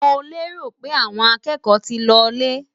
Mo lérò pé àwọn akẹ́kọ̀ọ́ ti lọ lé?